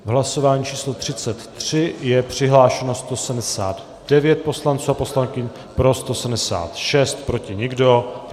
V hlasování číslo 33 je přihlášeno 179 poslanců a poslankyň, pro 176, proti nikdo.